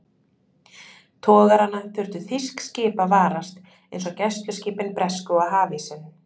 Togarana þurftu þýsk skip að varast, eins og gæsluskipin bresku og hafísinn.